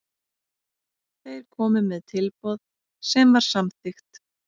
Þeir komu með tilboð sem var samþykkt.